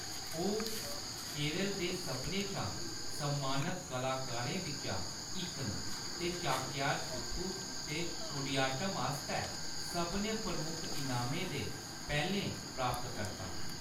ओह्‌‌ केरल दे सभनें शा सम्मानत कलाकारें बिच्चा इक न ते चाक्यार कूथु ते कुडियाट्टम आस्तै सभनें प्रमुख इनामें दे पैह्‌‌‌लें प्राप्तकर्ता।